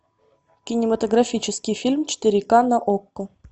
кинематографический фильм четыре ка на окко